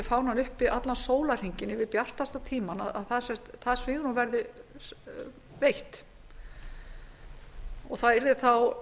fánann uppi allan sólarhringinn yfir bjartasta tímann því svigrúmi verði breytt og það yrði þá